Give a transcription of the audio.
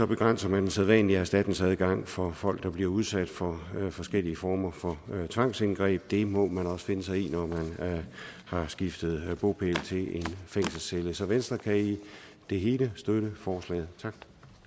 begrænser man den sædvanlige erstatningsadgang for folk der bliver udsat for forskellige former for tvangsindgreb det må man også finde sig i når man har skiftet bopæl til en fængselscelle så venstre kan i det hele støtte forslaget tak